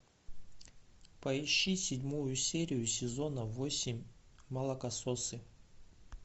поищи седьмую серию сезона восемь молокососы